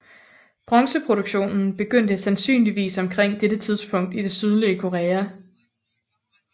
Bronzeproduktionen begyndte sandsynligvis omkring dette tidspunkt i det sydlige Korea